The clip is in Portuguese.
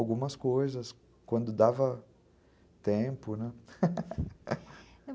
Algumas coisas, quando dava tempo, né?